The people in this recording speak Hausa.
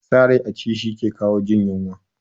Sa rai a ci, shi ke lawo jin yunwa